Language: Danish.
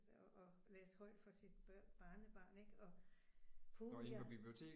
Og og læste højt for sit barnebarn ik og puh ja